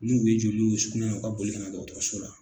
N'u ye jeli y'u sukunɛ na u ka boli kana dɔgɔtɔrɔso la.